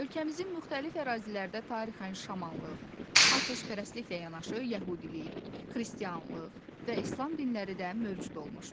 Ölkəmizin müxtəlif ərazilərdə tarixən şamanlıq, atəşpərəstliklə yanaşı yəhudilik, xristianlıq və İslam dinləri də mövcud olmuşdur.